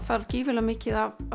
þarf gríðarlega mikið af